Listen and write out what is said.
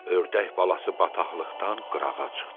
Ördək balası bataqlıqdan qırağa çıxdı.